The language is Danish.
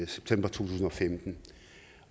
september to tusind og femten